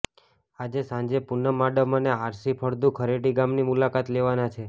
આજે સાંજે પૂનમ માડમ અને આરસી ફળદુ ખરેડી ગામની મુલાકાત લેવાના છે